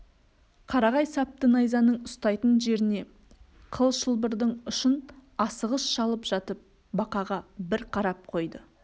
қарағай сапты найзаның ұстайтын жеріне қыл шылбырдың ұшын асығыс шалып жатып бақаға бір қарап қойды